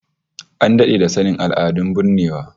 An dade da sanin al'adun binnewa